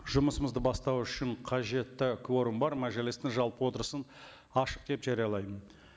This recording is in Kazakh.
жұмысымызды бастау үшін қажетті кворум бар мәжілістің жалпы отырысын ашық деп жариялаймын